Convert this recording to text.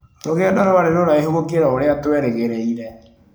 Rũgendo rwarĩ rũraihu gũkĩra ũrĩa twerĩgĩrĩire.